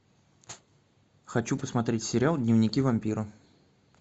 хочу посмотреть сериал дневники вампира